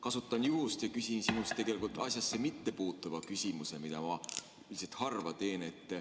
Kasutan juhust ja küsin tegelikult asjasse mittepuutuva küsimuse, mida ma üldiselt harva teen.